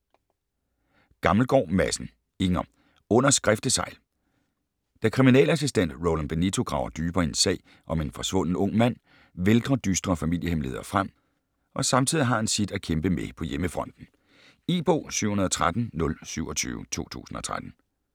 Gammelgaard Madsen, Inger: Under skriftesegl Da kriminalassistent Roland Benito graver dybere i en sag om en forsvunden ung mand vælter dystre familiehemmeligheder frem, og samtidig har han sit at kæmpe med på hjemmefronten. E-bog 713027 2013.